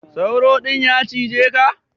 Sauro din ya cije ka?